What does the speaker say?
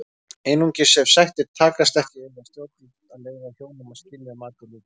Einungis ef sættir takast ekki eiga stjórnvöld að leyfa hjónum að skilja að mati Lúthers.